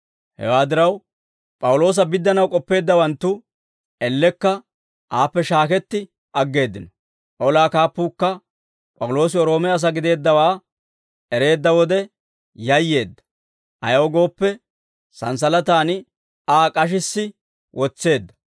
Hewaa diraw, P'awuloosa biddanaw k'ooppeeddawanttu elekka aappe shaaketti aggeeddino. Olaa kaappuukka P'awuloosi Roome asaa gideeddawaa ereedda wode yayyeedda; ayaw gooppe, santsalataan Aa k'ashissi wotseedda.